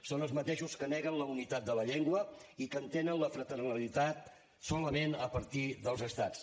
són els mateixos que neguen la unitat de la llengua i que entenen la fraternitat solament a partir dels estats